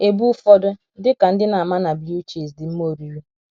Ebu ụfọdụ, dị ka ndị na - ama na blue cheese, dị mma oriri.